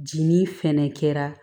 Jinin fɛnɛ kɛra